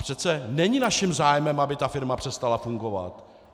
Přece není naším zájmem, aby ta firma přestala fungovat.